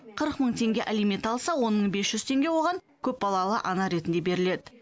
қырық мың теңге алимент алса он мың бес жүз теңге оған көпбалалы ана ретінде беріледі